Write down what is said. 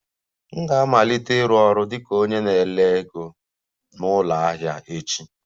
M ga-amalite ịrụ ọrụ dị ka onye na-ere ego na ụlọ ahịa echi